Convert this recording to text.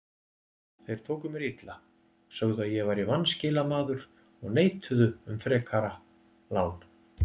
Þeir tóku mér illa, sögðu að ég væri vanskilamaður og neituðu um frekari lán.